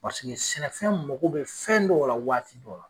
sɛnɛfɛn mogo bɛ fɛn dɔw la waati dɔw la.